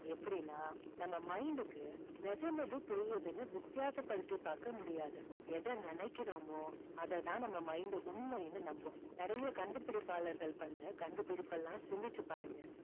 எப்படின்னா நம்ம mind க்கு நிஜம் எது பொய் எதுன்னு வித்தியாசப்படுத்தி பார்க்க முடியாது. எதை நினைக்கிறோமோ அதை தான் நம்ம mind உண்மைன்னு நம்பும். நிறைய கண்டுபிடிப்பாளர்கள் பண்ண கண்டுபிடிப்பு எல்லாம் சிந்திச்சு பாருங்க